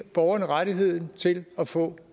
borgeren rettigheden til at få